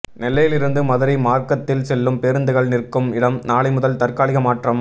நெல்லையிலிருந்து மதுரை மாா்க்கத்தில் செல்லும் பேருந்துகள் நிற்கும் இடம் நாளைமுதல் தற்காலிக மாற்றம்